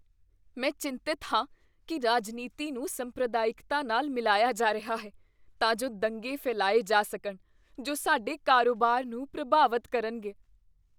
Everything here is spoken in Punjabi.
ਮੈਂ ਚਿੰਤਤ ਹਾਂ ਕੀ ਰਾਜਨੀਤੀ ਨੂੰ ਸੰਪਰਦਾਇਕਤਾ ਨਾਲ ਮਿਲਾਇਆ ਜਾ ਰਿਹਾ ਹੈ ਤਾਂ ਜੋ ਦੰਗੇ ਫੈਲਾਏ ਜਾ ਸਕਣ ਜੋ ਸਾਡੇ ਕਾਰੋਬਾਰ ਨੂੰ ਪ੍ਰਭਾਵਤ ਕਰਨਗੇ।